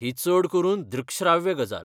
ही चड करून दृकश्राव्य गजाल.